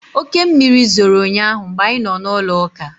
Oke mmiri zoro ụnyaahụ mgbe anyị nọ n'ụlọụka